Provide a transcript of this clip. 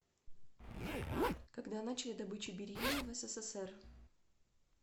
когда начали добычу бериллия в ссср